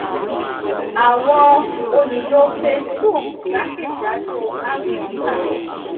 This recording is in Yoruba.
àwọn olùlo facebook jákèjádò áfíríkà